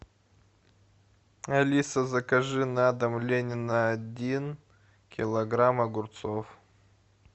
алиса закажи на дом ленина один килограмм огурцов